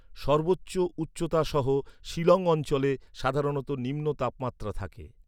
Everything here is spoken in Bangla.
সর্বোচ্চ উচ্চতা সহ, শিলং অঞ্চলে, সাধারণত নিম্ন তাপমাত্রা থাকে।